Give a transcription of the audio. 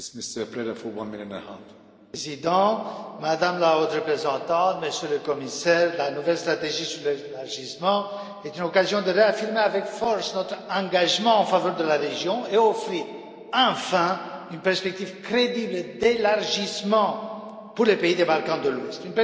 Monsieur le Président, Madame la Haute représentante, Monsieur le Commissaire, la nouvelle stratégie sur l'élargissement est une occasion de réaffirmer avec force notre engagement en faveur de la région et d'offrir enfin une perspective crédible d'élargissement pour les pays des Balkans de l'Ouest.